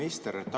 Hea minister!